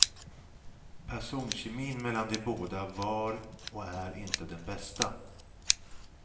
Personkemin mellan de båda var och är inte den bästa.